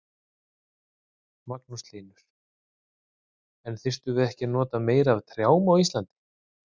Magnús Hlynur: En þyrftum við ekki að nota meira af trjám á Íslandi?